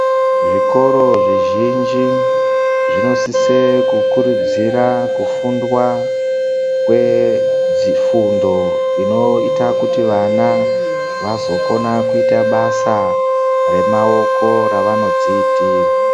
Zvikora zvizhinji zvinosisa kukurudzira kufundwa kwedzifundo inoita kuti vana vazokona kuita basa remaoko ravanozvizlitira.